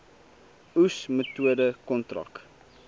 oes metode kontrak